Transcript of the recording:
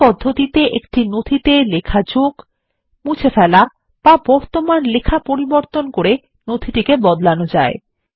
এই পদ্ধতিতে একটি নথিতে লেখা যোগ মুছে ফেলা বা বর্তমান লেখা পরিবর্তন করে নথি টিকে বদলানো যায়